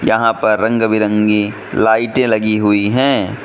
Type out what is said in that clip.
यहां पर रंग बिरंगी लाइटें लगी हुई हैं।